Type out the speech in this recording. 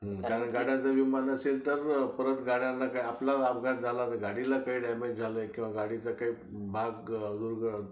कारण गाड्यांचा विमा नसेल तर परत गाड्यांना काही अपघात झाला, आपल्यालाच काही झालं तर काय? गाडीला काही डॅमेज झालंय किंवा गाडीचा काही भाग